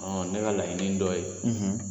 ne ka laɲini dɔ ye